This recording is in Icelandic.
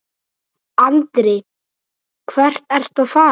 Andri: Hvert ertu að fara?